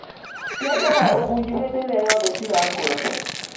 Ciendaga ũguynu hĩndĩĩrĩa yothe cirakũra.